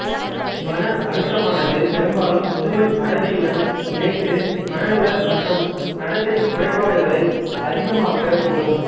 மன அழுத்தமானது பெரும்பாலும் முதுமை மறதியுடன் இணைந்து மனநல மற்றும் நடத்தைக் குறைபாடுகளை அதிகமாக்கக் கூடும்